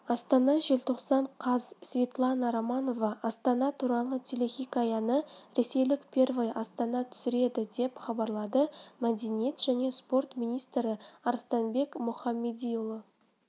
астана желтоқсан қаз светлана романова астана туралы телехикаяны ресейлік первый арнасы түсіреді деп хабарлады мәдениет және спорт министрі арыстанбек мұхамедиұлы